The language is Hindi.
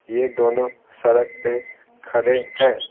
ये दोनों सड़क पे खड़े हैं।